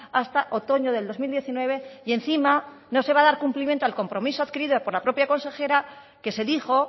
hasta otoño del dos mil diecinueve y encima no se va a dar cumplimiento al compromiso adquirido por la propia consejera que se dijo